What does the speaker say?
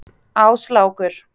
Áslákur